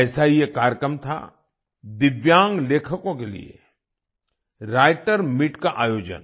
ऐसा ही एक कार्यक्रम था दिव्यांग लेखकों के लिए राइटर्स मीत का आयोजन